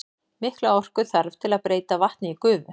Mikla orku þarf til að breyta vatni í gufu.